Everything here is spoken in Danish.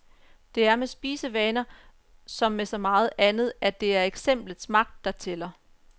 Det er med spisevaner, som med så meget andet, at det er eksemplets magt, der tæller.